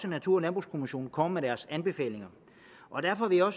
natur og landbrugskommissionen kommer med deres anbefalinger derfor vil jeg